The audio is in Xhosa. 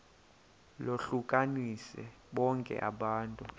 lohlukanise bonke abantu